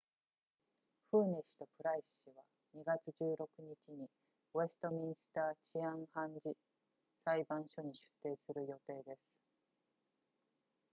フーネ氏とプライス氏は2月16日にウェストミンスター治安判事裁判所に出廷する予定です